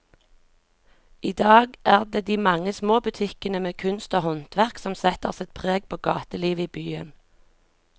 I dag er det de mange små butikkene med kunst og håndverk som setter sitt preg på gatelivet i byen.